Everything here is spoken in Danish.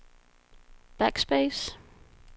backspace